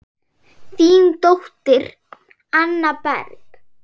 Þín dóttir, Anna Berg.